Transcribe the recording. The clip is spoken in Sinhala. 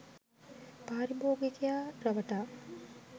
පාරිභෝගිකයා රවටා